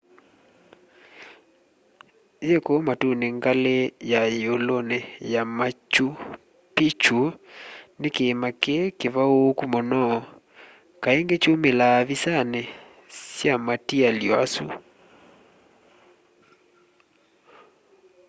yi kuu matuni ngali ya yiuluni ya machu picchu ni kiima kii kivauuku muno kaingi kyumilaa visani sya matialy'o asu